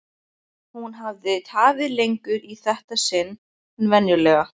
Hún hafði tafið lengur í þetta sinn en venjulega.